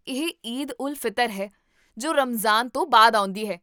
ਇਹ ਈਦ ਉਲ ਫਿਤਰ ਹੈ, ਜੋ ਰਮਜ਼ਾਨ ਤੋਂ ਬਾਅਦ ਆਉਂਦੀ ਹੈ